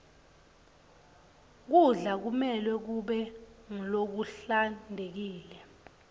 kudla kumelwe kube ngulokuhlantekile